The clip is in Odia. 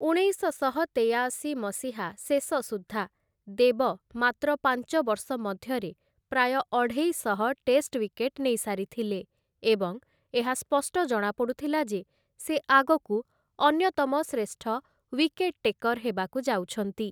ଉଣେଇଶଶହ ତେୟାଅଶି ମସିହା ଶେଷ ସୁଦ୍ଧା ଦେବ ମାତ୍ର ପାଞ୍ଚ ବର୍ଷ ମଧ୍ୟରେ ପ୍ରାୟ ଅଢ଼େଇଶହ ଟେଷ୍ଟ ୱିକେଟ ନେଇସାରିଥିଲେ ଏବଂ ଏହା ସ୍ପଷ୍ଟ ଜଣାପଡ଼ୁଥିଲା ଯେ ସେ ଆଗକୁ ଅନ୍ୟତମ ଶ୍ରେଷ୍ଠ ଓ୍ୱିକେଟ ଟେକର୍ ହେବାକୁ ଯାଉଛନ୍ତି ।